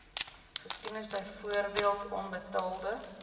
geskiedenis byvoorbeeld onbetaalde